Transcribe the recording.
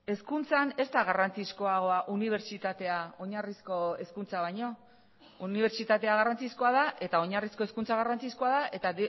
hezkuntzan ez da garrantzizkoagoa unibertsitatea oinarrizko hezkuntza baino unibertsitatea garrantzizkoa da eta oinarrizko hezkuntza garrantzizkoa da eta